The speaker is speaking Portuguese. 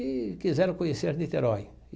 e quiseram conhecer Niterói.